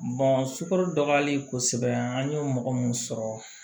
sukaro dɔgɔyali kosɛbɛ an ye mɔgɔ mun sɔrɔ